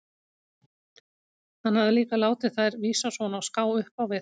Hann hafði líka látið þær vísa svona á ská upp á við.